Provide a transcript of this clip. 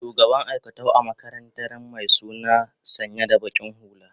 shugaban aikatau a makarantaran my suna sanya da baki hulla